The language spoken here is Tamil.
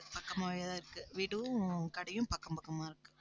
பக்கமாவேதான் இருக்கு வீடும் கடையும் பக்கம் பக்கமா இருக்கு